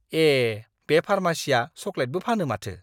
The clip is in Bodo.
ए! बे फार्मासिया चकलेटबो फानो माथो!